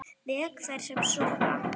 Vek þær sem sofa.